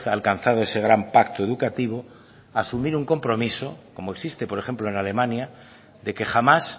alcanzado ese gran pacto educativo asumir un compromiso como existe por ejemplo en alemania de que jamás